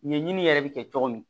Ɲɛɲini yɛrɛ bɛ kɛ cogo min